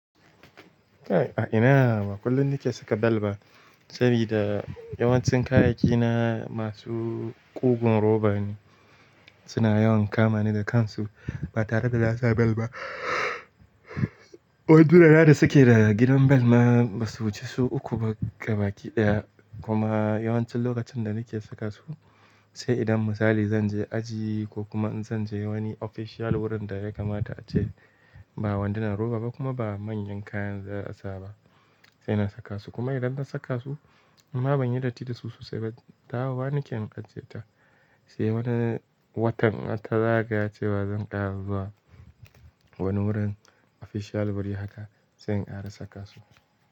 A ina ba kullum nike saka bel ba, sabida yawancin kayayyaki na masu ƙugun roba ne, suna yawan kama ni da kansu ba tare da na bel ba. Wanduna na da suke da gidan bel ma basu wuce su uku ba ga baki ɗaya. Kuma yawancin lokacin da nake saka su, sai idan misali zanje aji ko kuma in zanje wani official wurin da ya kamata ace ba wandunan roba ba kuma ba manyan kayan za a sa ba sai na saka su. Kuma idan na saka su, inma ban yi datti da su sosai ba. Dawo wa nake in ajiye ta, sai wani watan har ta zaga cewa zan ƙara zuwa wani wurin official bari haka sai in ƙara saka su.